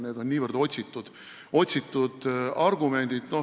Seal on niivõrd otsitud argumendid.